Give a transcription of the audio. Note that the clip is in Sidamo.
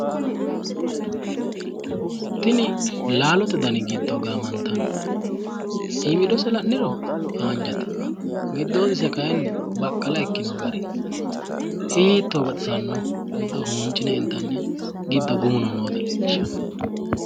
tini laalote dani giddo gaamantanni iimidose la'niro haanjate giddoyidose kayiinnni baqqala ikkino gari hiitto baxissannoho giddo huuncine intiniha giddo gumuno noota leellishshanno.